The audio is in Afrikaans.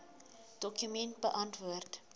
dokument beantwoord